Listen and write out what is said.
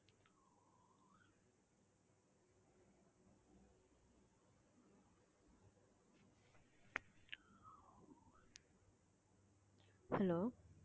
hello